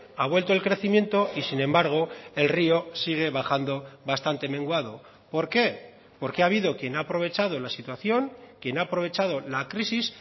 ha vuelto el crecimiento y sin embargo el río sigue bajando bastante menguado por qué porque ha habido quien ha aprovechado la situación quien ha aprovechado la crisis